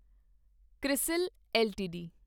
CRISIL LTD